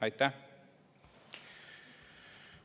Aitäh!